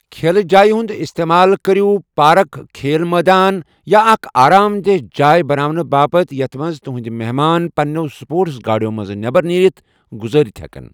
كھیلہٕ جایہِ ہُند استعمال كٔرِو پارک، كھیل مٲدان یا اكھ آرام دیہہ جاے بناونہٕ باپت یتھ منز تُہندۍ محمان پننِیو سپورٹس گاڈیو منٛز نیبر نیٖرِتھ گُزٲرِتھ ہیكن ۔